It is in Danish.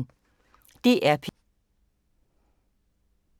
DR P1